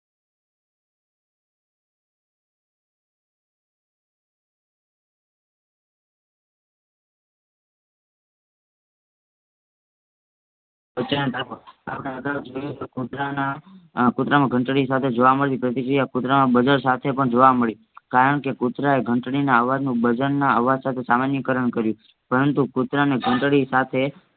કૂતરાના કૂતરામાં ઘંટળીસાથે જોવા મલી પ્રતિક્રિયા કૂતરામાં સાથેપણ જોવા મળી કારણકે કૂતરાએ ઘંટળીના અવાજનું ના અવજસાથે સામાનિકરણ કર્યું પરંતુ કૂતરાને ઘંટળીસાથે